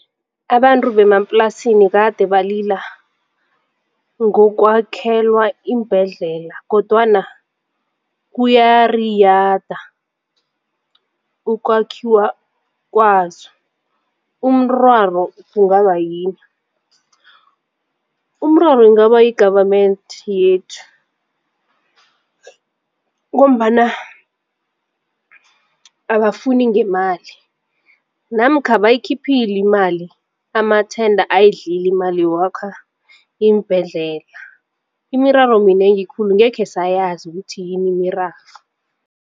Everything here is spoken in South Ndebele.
Abantu bemaplasini kade balila ngokwakhelwa iimbhedlela kodwana kuyariyada ukwakhiwa kwazo, umraro kungaba yini? Umraro ingaba yi-government yethu ngombana abafuni ngemali namkha bayikhiphile imali amathenda ayidlile imali yokwakha iimbhedlela. Imiraro minengi khulu angekhe sayazi ukuthi yini imiraro.